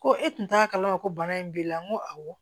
Ko e tun t'a kalama ko bana in b'i la n ko awɔ